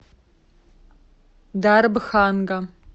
дарбханга